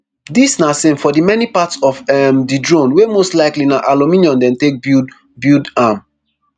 dis na same for di many parts of um di drone wey most likely na aluminium dem take build build am